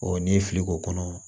n'i ye fili k'o kɔnɔ